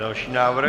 Další návrh?